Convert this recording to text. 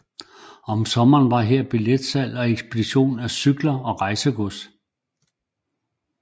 Om sommeren var her billetsalg og ekspedition af cykler og rejsegods